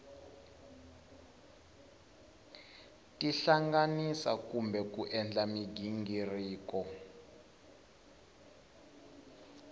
tihlanganisa kumbe ku endla mighingiriko